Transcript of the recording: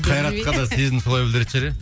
қайратқа да сезімді солай білдіретін шығар иә